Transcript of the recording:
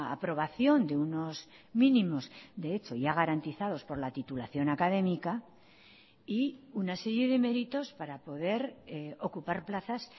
aprobación de unos mínimos de hecho ya garantizados por la titulación académica y una serie de méritos para poder ocupar plazas